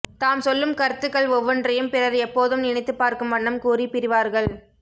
தாம் சொல்லும் கருத்துக்கள் ஒவ்வொன்றையும் பிறர் எப்போதும் நினைத்துப் பார்க்கும் வண்ணம் கூறிப் பிரிவார்கள்